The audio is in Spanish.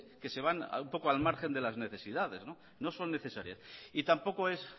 que se van un poco al margen de las necesidades no son necesarias y tampoco es